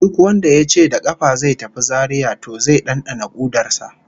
Duk wanda yace da kafa zai tafi Zaria to zai dandana kudar sa